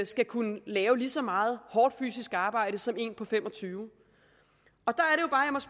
skal kunne lave lige så meget hårdt fysisk arbejde som en på femogtyvende der